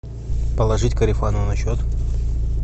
положить корефану на счет